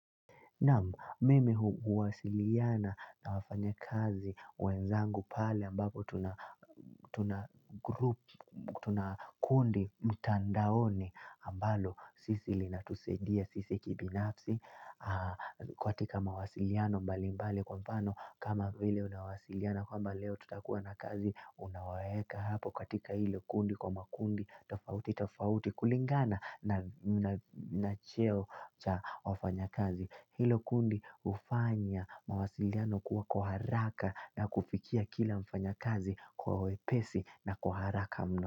Naam, huwasiliana na wafanyi kazi wenzangu pale ambapo tuna kundi mtandaoni ambalo sisi linatusadia sisi kibinapsi katika mawasiliano mbali mbali kwa mfano kama vile unawasiliana kwamba leo tutakuwa na kazi unawaeka hapo katika hilo kundi kwa makundi tofauti tofauti kulingana na cheo cha wafanya kazi Hilo kundi hufanya mawasiliano kuwa kwa haraka na kufikia kila mfanyakazi kwa wepesi na kwa haraka mno.